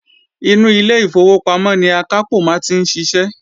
Inú ilé ìfowópamọ́ ni akápò maa n ti sise